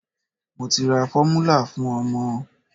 Mo ti ra fọ́múlà fún ọmọ.